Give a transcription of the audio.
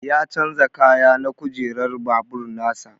Ya chanza kaya na kujerar babur nasa.